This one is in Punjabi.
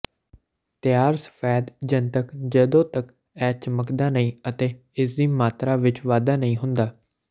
ਤਿਆਰ ਸਫੈਦ ਜਨਤਕ ਜਦੋਂ ਤੱਕ ਇਹ ਚਮਕਦਾ ਨਹੀਂ ਅਤੇ ਇਸਦੀ ਮਾਤਰਾ ਵਿੱਚ ਵਾਧਾ ਨਹੀਂ ਹੁੰਦਾ